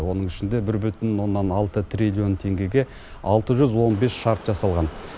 оның ішінде бір бүтін оннан алты триллион теңгеге алты жүз он бес шарт жасалған